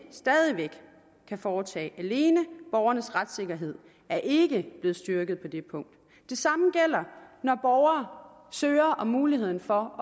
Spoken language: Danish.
stadig væk kan foretage alene borgernes retssikkerhed er ikke blevet styrket på det punkt det samme gælder når borgere søger om muligheden for